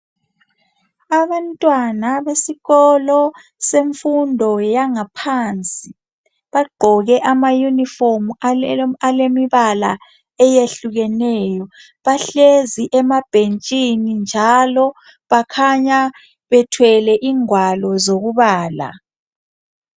abantwana besikolo semfundo yangaphansi bagqoke ama uniform alemibala eyehlukeneyo bahlezi emabhenshini njalo bakhanya bethwele ingwalo zokubala